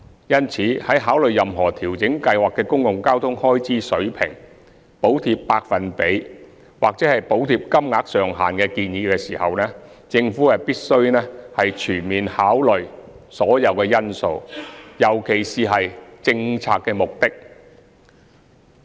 因此，在考慮任何調整計劃的公共交通開支水平、補貼百分比或補貼金額上限的建議時，政府必須全面考慮所有因素，尤其是政策目的。